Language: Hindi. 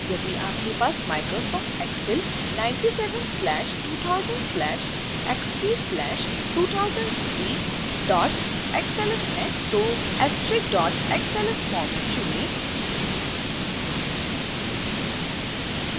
यदि आपके पास microsoft excel 97/2000/xp/2003 xls है तो excel file*xls फोर्मेट चुनें